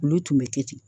Olu tun bɛ kɛ ten